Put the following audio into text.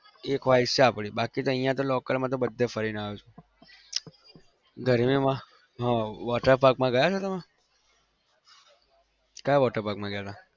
એ ख्वाहिश છે આપણી બાકી તો અહિયાં તો local માં તો બધે ફરીને આવ્યો છું. ગરમીમાં હા water park માં ગયા છો તમે કયા water park માં ગયા હતા?